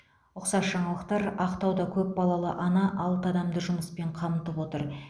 ұқсас жаңалықтар ақтауда көпбалалы ана алты адамды жұмыспен қамтып отыр